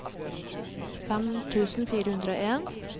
fem tusen fire hundre og en